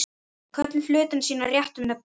Köllum hlutina sínum réttu nöfnum.